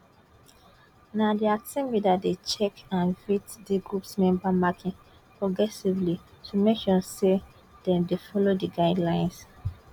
na di team leader dey check and vet di group members marking progressively to make sure say dem dey follow di guidelines